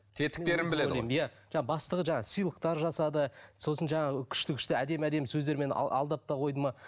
тетіктерін біледі ғой иә жаңа бастығы жаңа сыйлықтар жасады сосын жаңағы күшті күшті әдемі әдемі сөздермен алдап та қойды ма